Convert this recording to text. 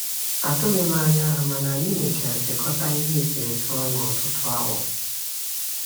Atụghị m anya ha, mana anyị mechara sekọta ihe eserese ọnụ ọtụtụ awa.